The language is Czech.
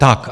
Tak.